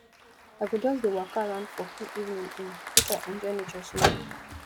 i go just dey waka around for cool evening um make i enjoy nature small